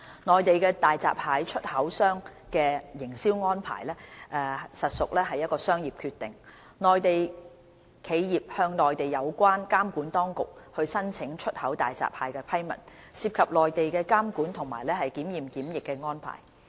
內地大閘蟹出口商的營銷安排屬商業決定，內地企業向內地有關監管當局申請出口大閘蟹的批文，涉及內地的監管及檢驗檢疫安排。